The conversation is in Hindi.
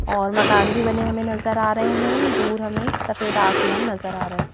और मकान भी बने हमें नजर आ रहे हैं दूर हमें सफेद आसमान नजर आ रहा है.